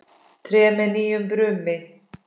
Tré með nýju brumi.